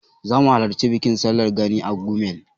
Zamu halarci bikin sallar Gani a Gumel.